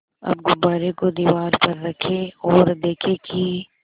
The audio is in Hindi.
अब गुब्बारे को दीवार पर रखें ओर देखें कि